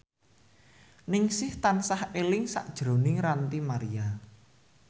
Ningsih tansah eling sakjroning Ranty Maria